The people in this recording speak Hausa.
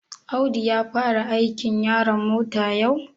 Audu ya fara aikin yaron mota yau?